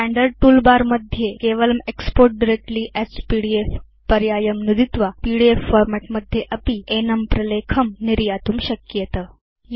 standard toolbar मध्ये केवलं export directly as PDF पर्यायं नुदित्वा पीडीएफ फॉर्मेट् मध्ये अपि एनं प्रलेखं निर्यातुं शक्येत